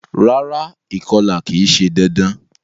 Rárá, ìkolà ki se dandan